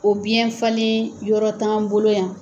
O biyɛn falen yɔrɔ t'an bolo yan